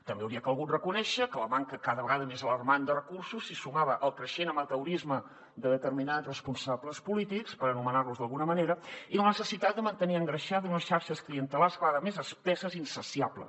també hauria calgut reconèixer que a la manca cada vegada més alarmant de recursos s’hi sumava el creixent amateurisme de determinats responsables polítics per anomenar los d’alguna manera i a la necessitat de mantenir engreixat unes xarxes clientelars cada vegada més espesses i insaciables